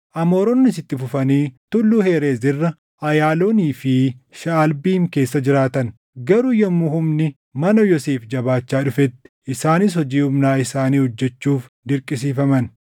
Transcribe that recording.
Amooronnis itti fufanii Tulluu Herees irra, Ayaaloonii fi Shaʼalbiim keessa jiraatan; garuu yommuu humni mana Yoosef jabaachaa dhufetti isaanis hojii humnaa isaanii hojjechuuf dirqisiifaman.